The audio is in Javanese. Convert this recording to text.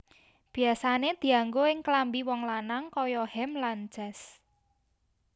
Biasane dianggo ing klambi wong lanang kaya hem lan jas